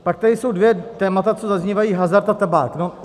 Pak tady jsou dvě témata, co zaznívají, hazard a tabák.